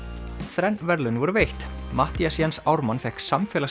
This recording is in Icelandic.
þrenn verðlaun voru veitt Matthías Jens Ármann fékk